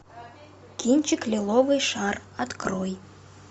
кинчик лиловый шар открой